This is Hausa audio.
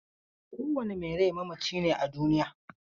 Kowane mai rai mamaci ne a duniya.